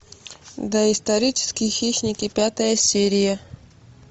доисторические хищники пятая серия